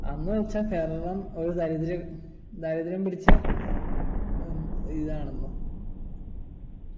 അന്നു വെച്ചാൽ കേരളം ഒരു ദരിദ്ര ദരിദ്രം പിടിച്ച ഹും ഇതാണ്